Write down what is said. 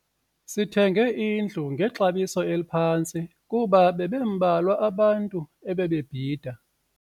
Sithenge indlu ngexabiso eliphantsi kuba bebembalwa abantu ebebebhida.